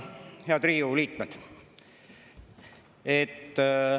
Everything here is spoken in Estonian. Head Riigikogu liikmed!